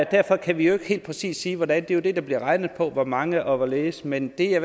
derfor kan vi jo ikke helt præcis sige hvordan det er jo det der bliver regnet på hvor mange og hvorledes men det jeg